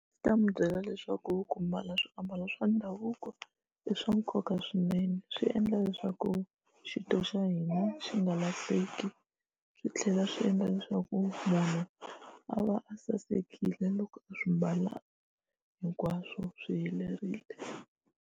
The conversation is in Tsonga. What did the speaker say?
Swi ta mi byela leswaku ku mbala swiambalo swa ndhavuko i swa nkoka swinene swi endla leswaku xintu xa hina xi nga lahleki swi tlhela swi endla leswaku munhu a va a sasekile loko a swi mbala hinkwaswo swi helerile.